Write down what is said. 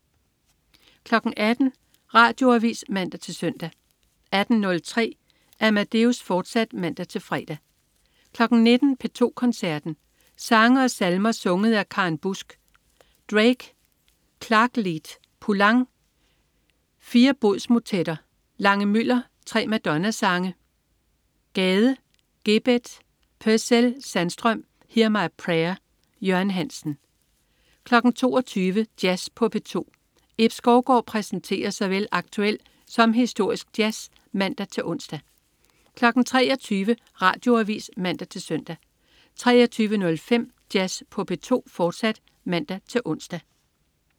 18.00 Radioavis (man-søn) 18.03 Amadeus, fortsat (man-fre) 19.00 P2 Koncerten. Sange og salmer sunget af Karen Busck. Drake: Klaglied. Poulenc: 4 bodsmotetter. Lange-Müller: 3 maddona-sange. Gade: Gebeth. Purcell/Sandstrøm: Hear my prayer. Jørgen Hansen 22.00 Jazz på P2. Ib Skovgaard præsenterer såvel aktuel som historisk jazz (man-ons) 23.00 Radioavis (man-søn) 23.05 Jazz på P2, fortsat (man-ons)